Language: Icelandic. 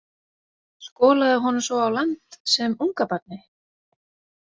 Skolaði honum svo á land sem ungabarni?